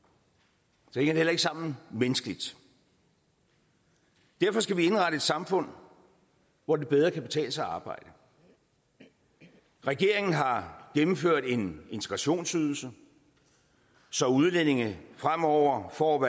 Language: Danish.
så heller ikke sammen menneskeligt derfor skal vi indrette et samfund hvor det bedre kan betale sig at arbejde regeringen har gennemført en integrationsydelse så udlændinge fremover får